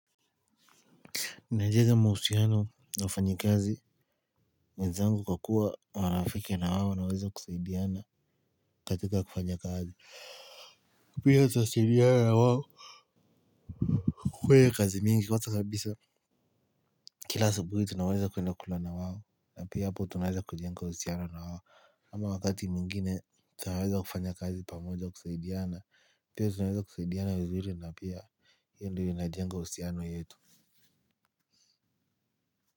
Ninajenga mahusiano na wafanyikazi, wenzangu kwa kua marafiki na wao tinaweza kusaidiana katika kufanya kazi pia tutasaidiana na wao. Kwa kazi mingi kwanza kabisa kila asubuhi tunaweza kuenda kula na wao, na pia hapo tunaweza kujenga uhusiano na wao ama wakati mwingine, tunaweza kufanya kazi pamoja kusaidiana, pia tunaweza kusaidiana vizuri na pia hiyo ndo inajenga uhusiano yetu.